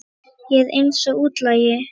Ég er eins og útlagi.